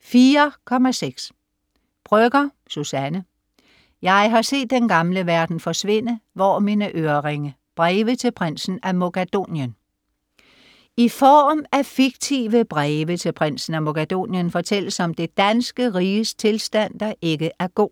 04.6 Brøgger, Suzanne: Jeg har set den gamle verden forsvinde - hvor er mine øreringe?: breve til Prinsen af Mogadonien I form af fiktive breve til Prinsen af Mogadonien fortælles om det danske riges tilstand, der ikke er god.